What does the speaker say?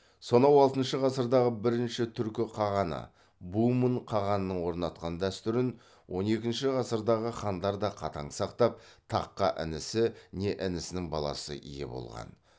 сонау алтыншы ғасырдағы бірінші түркі қағаны бумын қағанның орнатқан дәстүрін он екінші ғасырдағы хандар да қатаң сақтап таққа інісі не інісінің баласы ие болған